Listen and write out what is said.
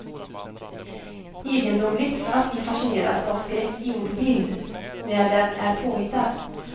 Egendomligt att vi fascineras av skräck i ord och bild, när den är påhittad.